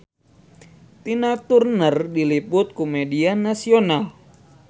Tina Turner diliput ku media nasional